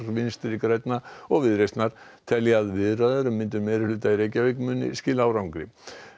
Vinstri grænna og Viðreisnar telja að viðræður um myndun meirihluta í Reykjavík muni skila árangri